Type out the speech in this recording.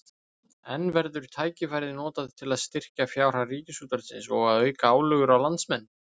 En verður tækifærið notað til að styrkja fjárhag Ríkisútvarpsins og að auka álögur á landsmenn?